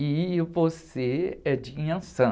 E você é de Inhansã.